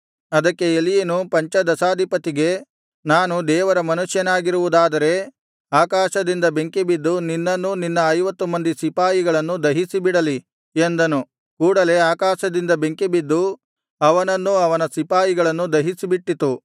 ಅದಕ್ಕೆ ಎಲೀಯನು ಪಂಚದಶಾಧಿಪತಿಗೆ ನಾನು ದೇವರ ಮನುಷ್ಯನಾಗಿರುವುದಾದರೆ ಆಕಾಶದಿಂದ ಬೆಂಕಿಬಿದ್ದು ನಿನ್ನನ್ನೂ ನಿನ್ನ ಐವತ್ತು ಮಂದಿ ಸಿಪಾಯಿಗಳನ್ನೂ ದಹಿಸಿಬಿಡಲಿ ಎಂದನು ಕೂಡಲೆ ಆಕಾಶದಿಂದ ಬೆಂಕಿ ಬಿದ್ದು ಅವನನ್ನೂ ಅವನ ಸಿಪಾಯಿಗಳನ್ನೂ ದಹಿಸಿಬಿಟ್ಟಿತು